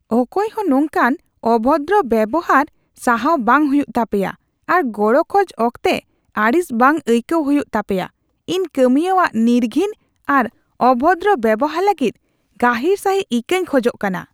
ᱚᱠᱚᱭᱦᱚ ᱱᱚᱝᱠᱟᱱ ᱚᱵᱷᱚᱫᱨᱚ ᱵᱮᱣᱦᱟᱨ ᱥᱟᱦᱟᱣ ᱵᱟᱝ ᱦᱩᱭᱩᱜ ᱛᱟᱯᱮᱭᱟ ᱟᱨ ᱜᱚᱲᱚ ᱠᱷᱚᱡ ᱚᱠᱛᱮ ᱟᱹᱲᱤᱥ ᱵᱟᱝ ᱟᱹᱭᱠᱟᱹᱣ ᱦᱩᱭᱩᱜ ᱛᱟᱯᱮᱭᱟ ᱾ ᱤᱧ ᱠᱟᱹᱢᱤᱭᱟᱹᱣᱟᱜ ᱱᱤᱨᱜᱷᱤᱱ ᱟᱨ ᱚᱵᱷᱚᱫᱨᱚ ᱵᱮᱣᱦᱟᱨ ᱞᱟᱹᱜᱤᱫ ᱜᱟᱹᱦᱤᱨ ᱥᱟᱹᱦᱤᱡ ᱤᱠᱟᱹᱧ ᱠᱷᱚᱡᱚᱜ ᱠᱟᱱᱟ ᱾